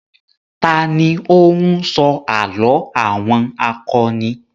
Ta ní ó ń sọ àlọ́ àwọn akọni?